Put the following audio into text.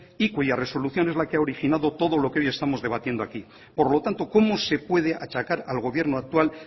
y cuya resolución es la que ha originado todo lo que hoy estamos debatiendo aquí por lo tanto cómo se puede achacar al gobierno actual